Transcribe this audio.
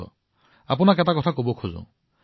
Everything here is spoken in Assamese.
এটা কথা মই আপোনাৰ সৈতে বিনিময় কৰিবলৈ বিচাৰিছো